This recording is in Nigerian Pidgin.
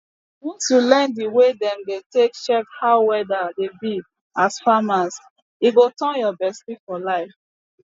once you learn di way dem dey take check how weather dey be as farmer e go turn your bestie for liife